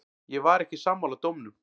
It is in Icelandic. Ég var ekki sammála dómnum.